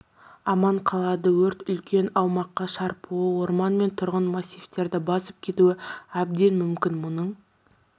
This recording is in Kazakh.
аман қалады өрт үлкен аумаққа шарпуы орман мен тұрғын массивтерді басып кетуі әдбен мүмкін мұның